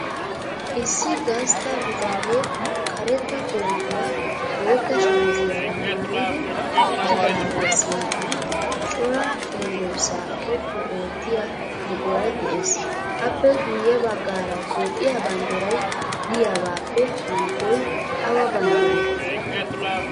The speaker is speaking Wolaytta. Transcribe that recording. Issi gastta bitane karetta kootiya bootta shamiziyara maayidi uttidaagaa sinttan cora cenggurssaa xoqqu oottiyaa buquray de'es. Appe guyye baggaara Toophiyaa bandiray diyagaappe hankkoy awa bandiree?